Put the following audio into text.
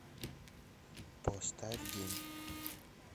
поставь день